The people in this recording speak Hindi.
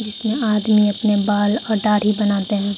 इसमें आदमी अपने बाल और दाढ़ी बनाते हैं।